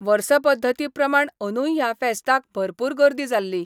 वर्सपध्दती प्रमाण अंदुय ह्या फेस्ताक भरपूर गर्दी जाल्ली.